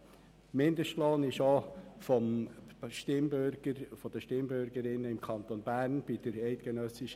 Die eidgenössische Mindestlohninitiative wurde auch von den Stimmbürgerinnen und Stimmbürgern im Kanton Bern abgelehnt.